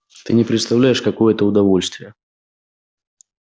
ты не представляешь какое это удовольствие